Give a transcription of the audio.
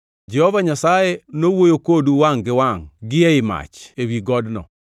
Jehova Nyasaye nowuoyo kodu wangʼ gi wangʼ gi ei mach ewi godno.